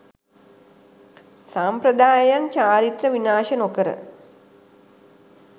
සම්ප්‍රදායයන් චාරිත්‍ර විනාශ නොකර